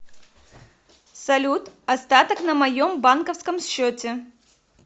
салют остаток на моем банковском счете